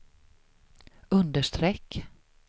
understreck